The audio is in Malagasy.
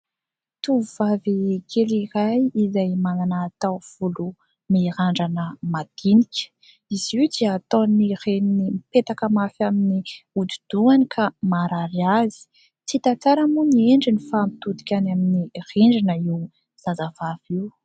Tovovavy kely iray izay manana taovolo mirandrana madinika. Izy io dia ataon'ny reniny mipetaka mafy amin'ny hodi-dohany ka maharary azy. Tsy hita tsara moa ny endriny fa mitodika any amin'ny rindrina io zazavavy io.